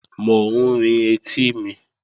Mò ń rin etí mi